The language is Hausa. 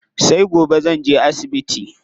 Sai gobe zanje asibiti.